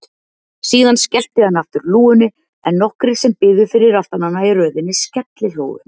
Síðan skellti hann aftur lúgunni en nokkrir sem biðu fyrir aftan hana í röðinni skellihlógu.